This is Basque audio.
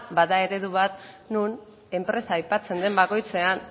bada eredu bat nun enpresa aipatzen den bakoitzean